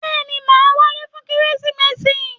Bẹ́ẹ̀ni, màá wálé fún Kérésìmesì.